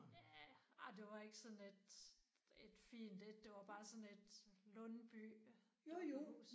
Ja ej det var ikke sådan et et fint et. Det var bare sådan et Lyndby dukkehus